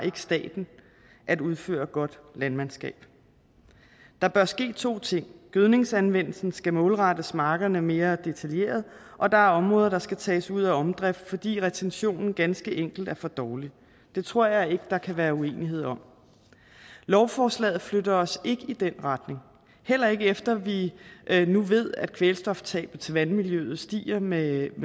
at udføre godt landmandskab der bør ske to ting gødningsanvendelsen skal målrettes markerne mere detaljeret og der er områder der skal tages ud af omdrift fordi retentionen ganske enkelt er for dårlig det tror jeg ikke der kan være uenighed om lovforslaget flytter os ikke i den retning heller ikke efter at vi nu ved at kvælstoftabet til vandmiljøet stiger med